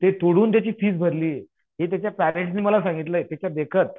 ते तोडून त्याची फीस भरली. हे त्याच्या पेरेंट्स ने मला सांगितलं त्याच्या देखत.